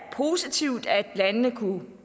er positivt at landene kunne